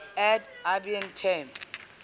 ad ibn taim